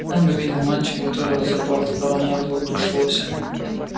он увидел мальчика который разрубал топором мёрзлую тушу лося